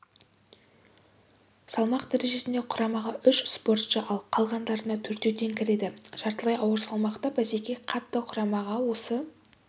салмақ дәрежесінде құрамаға үш спортшы ал қалғандарына төртеуден кіреді жартылай ауыр салмақта бәсеке қатты құрамаға осы